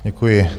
Děkuji.